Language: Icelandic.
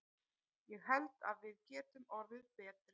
Ég held að við getum orðið betri.